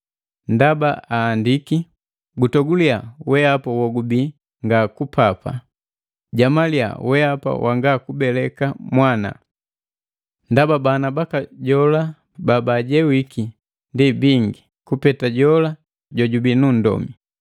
Ndaba ahandiki, “Gutoguliya, wehapa wogubii nga kupapa; Jamaliya wehapa wanga kubeleka mwana. Ndaba bana baka jola babaajewiki ndi bingi, kupeta jola jojubii nu nndomi.”